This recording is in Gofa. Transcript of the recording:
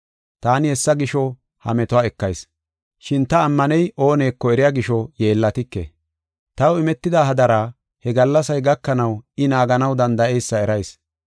Taani hessa gisho ha metuwa ekayis; shin ta ammaney ooneko eriya gisho yeellatike. Taw imetida hadara he gallasay gakanaw I naaganaw danda7eysa erayis.